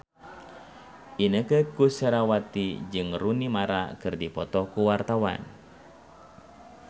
Inneke Koesherawati jeung Rooney Mara keur dipoto ku wartawan